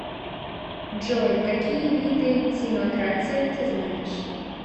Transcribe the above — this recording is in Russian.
джой какие виды тимократия ты знаешь